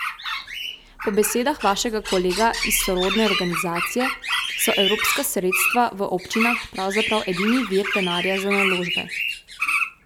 Po besedah vašega kolega iz sorodne organizacije so evropska sredstva v občinah pravzaprav edini vir denarja za naložbe.